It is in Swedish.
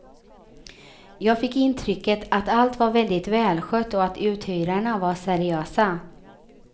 Jag fick intrycket att allt var väldigt välskött och att uthyrarna var seriösa.